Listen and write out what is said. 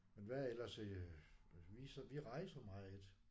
Men hvad ellers øh vi vi rejser meget